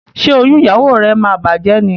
Ṣe oyún ìyàwó rẹ má bàjé ní?